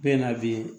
Bɛɛ na bi